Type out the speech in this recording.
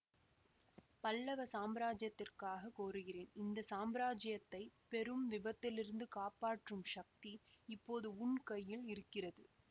பல்லவ சாம்ராஜ்யத்திற்காகக் கோருகிறேன் இந்த சாம்ராஜ்யத்தைப் பெரும் விபத்திலிருந்து காப்பாற்றும் சக்தி இப்போது உன் கையில் இருக்கிறது